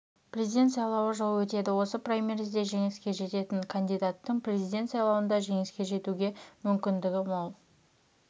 президент сайлауы жылы өтеді осы праймеризде жеңіске жететін кандидаттың президент сайлауында жеңіске жетуге мүмкіндігі мол